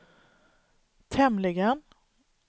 tämligen